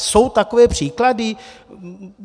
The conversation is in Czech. Jsou takové příklady?